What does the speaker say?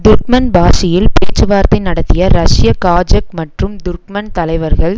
துர்க்மன்பாஷியில் பேச்சுவார்த்தை நடத்திய ரஷ்ய காஜக் மற்றும் துர்க்மன் தலைவர்கள்